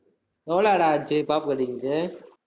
எவ்வளவுடா ஆச்சு pop cutting க்கு